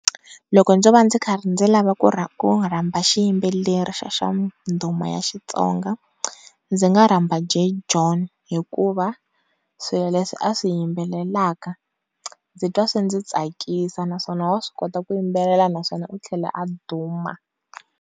Loko ndzo karhi ndzi lava ku rhandza xiyimbeleri xa xa nduma ya Xitsonga ndzi nga rhomba Jay Jonh hikuva swilo leswi a swi yimbelelaka ndzi twa swi ndzi tsakisa naswona wa swi kota ku yimbelela naswona u tlhela a duma.